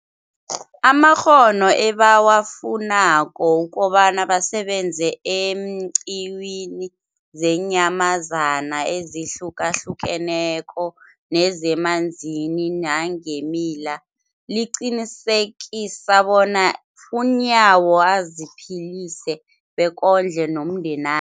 amakghono ebawafunako ukobana basebenze eenqiwini zeenyamazana ezihlukahlukeneko nezemanzini nangeemila, liqinisekisa bona uNyawo aziphilise bekondle nomndena